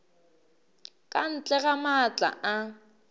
ka ntle ga maatla a